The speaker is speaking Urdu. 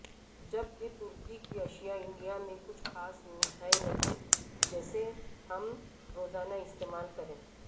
جبکہ ترکی کی اشیاء انڈیا میں کچھ خاص ہیں نہیں جسے ہم روزانہ استعمال کریں